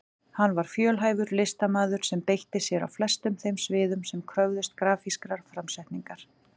Hann var fjölhæfur listamaður sem beitti sér á flestum þeim sviðum sem kröfðust grafískrar framsetningar.